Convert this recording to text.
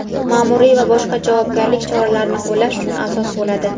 maʼmuriy va boshqa javobgarlik choralarini qo‘llash uchun asos bo‘ladi.